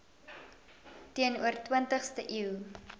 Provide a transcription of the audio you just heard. teenoor twintigste eeu